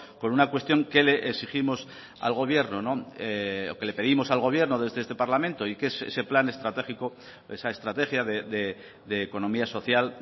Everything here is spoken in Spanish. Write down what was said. con una cuestión que le exigimos al gobierno o que le pedimos al gobierno desde este parlamento y que es ese plan estratégico esa estrategia de economía social